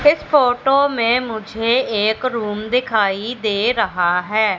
इस फोटो में मुझे एक रूम दिखाई दे रहा है।